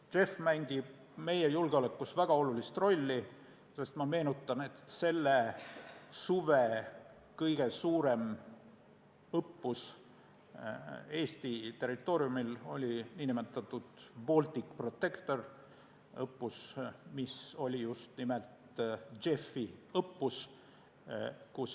JEF mängib meie julgeolekus väga suurt rolli, sest – meenutan – selle suve kõige suurem õppus Eesti territooriumil oli nn Baltic Protector, mis oli just nimelt JEF-i õppus.